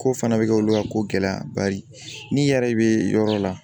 Ko fana bɛ kɛ olu ka ko gɛlɛya bari n'i yɛrɛ bɛ yɔrɔ la